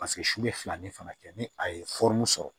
Paseke su bɛ fila ni fana kɛ ni a ye sɔrɔ